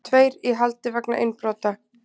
Tveir í haldi vegna innbrota